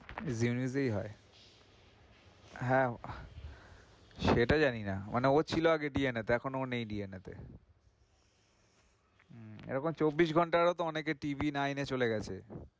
হয় হ্যাঁ সেটা জানি না, মানে ও ছিল আগে DNA তে, এখন ও নেই DNA তে এরকম চব্বিশ ঘন্টারও অনেকে TVnine এ চলে গেছে।